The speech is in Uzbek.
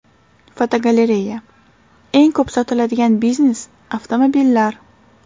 Fotogalereya: Eng ko‘p sotiladigan biznes avtomobillar.